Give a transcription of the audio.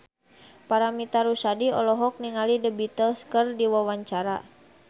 Paramitha Rusady olohok ningali The Beatles keur diwawancara